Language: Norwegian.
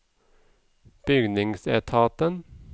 bygningsetaten